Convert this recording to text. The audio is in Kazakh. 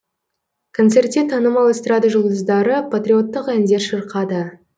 концертте танымал эстрада жұлдыздары патриоттық әндер шырқады